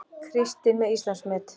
Kristinn með Íslandsmet